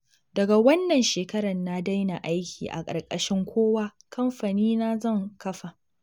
Daga wannan shekarar na daina aiki a ƙarƙashin kowa, kamfanina zan kafa